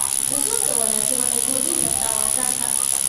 Xusuusta wanaagsan waxay kordhin kartaa waxtarka.